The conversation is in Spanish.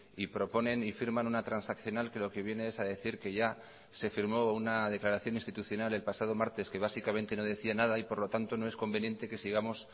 y proponen y firman una transaccional que lo que viene es a decir que ya se firmó una declaración institucional el pasado martes que básicamente no decía nada y por lo tanto no es conveniente que sigamos